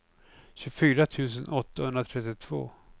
tjugofyra tusen åttahundratrettiotvå